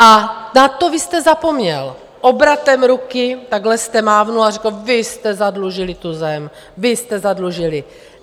A na to vy jste zapomněl, obratem ruky takhle jste mávl a řekl: vy jste zadlužili tu zem, vy jste zadlužili.